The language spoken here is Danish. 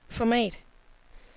format